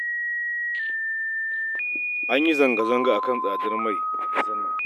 An yi zanga-zanga a kan tsadar mai a ƙasar nan